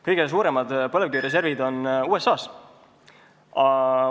Kõige suuremad põlevkivireservid on USA-s.